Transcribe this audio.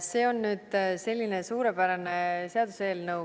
See on nüüd selline suurepärane seaduseelnõu.